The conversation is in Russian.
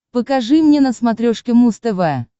покажи мне на смотрешке муз тв